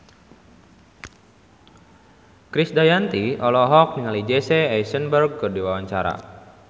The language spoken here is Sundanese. Krisdayanti olohok ningali Jesse Eisenberg keur diwawancara